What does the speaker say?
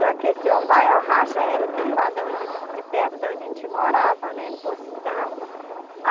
Só que esse ou vai ou racha era de lá, de onde de perto de onde a gente morava, né,